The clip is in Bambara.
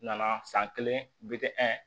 Nana san kelen